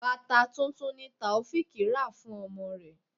Bàtà tuntun ni Taofiq rà fún ọmọ rẹ.